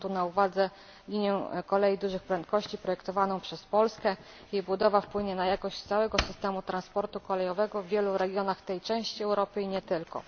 Mam tu na uwadze linię kolei dużych prędkości projektowaną przez Polskę, jej budowa wpłynie na jakość całego systemu transportu kolejowego w wielu regionach tej części Europy i nie tylko.